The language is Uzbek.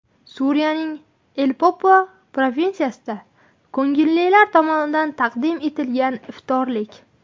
Suriyaning Aleppo provinsiyasida ko‘ngillilar tomonidan taqdim etilgan iftorlik.